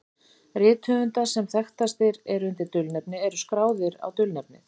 Rit höfunda sem þekktastir eru undir dulnefni eru skráð á dulnefnið.